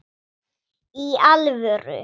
Í alvöru!